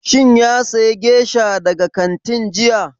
Shin ya saya gesha daga kantin jiya?